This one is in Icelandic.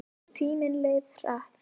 Tíminn leið hratt.